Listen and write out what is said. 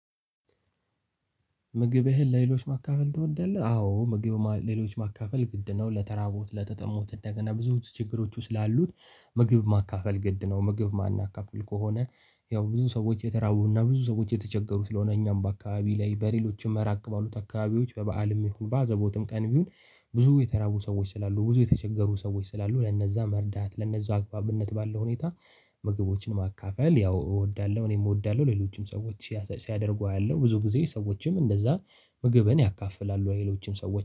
ምግብህን ለሌሎች ማካፈል ትወዳለህ? አዎ ምግብ ለሌሎች ማካፈል ግድ ነው ለተራቡት ለተጠሙት እንደገና ብዙ ችግሮች ውስጥ ላሉት ምግብ ማካፈል ግድ ነው። ምግብ ማናካፍል ከሆነ ያው ብዙ ሰዎች የተራቡና ብዙ ሰዎች የተቸገሩት ስለሆነ እኛም በአካባቢ ላይ በሌሎችም ራቅ ባሉት አካባቢዎች በበአልም ይሁን በአዘቦትም ቀንም ይሁን። ብዙ የተራቡ ሰዎች ስላሉ ብዙ የተቸገሩ ሰዎች ስላሉ ለነዛ መርዳት ለነዛ አግባብነት ባለው ሁኔታ ምግቦችን ማካፈል ያው እወዳለሁ። እኔም እወዳለሁ ሌሎችም ሰዎች ሲያደርጉ አያለሁ ብዙ ጊዜ ሰዎችም እንደዛ ምግብን ያካፍላሉ ለሌሎችም ሰዎች